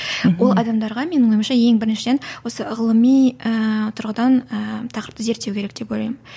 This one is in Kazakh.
ол адамдарға менің ойымша ең біріншіден осы ғылыми ыыы тұрғыдан ыыы тақырыпты зерттеу керек деп ойлаймын